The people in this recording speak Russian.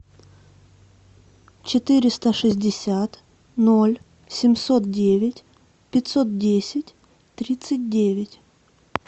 четыреста шестьдесят ноль семьсот девять пятьсот десять тридцать девять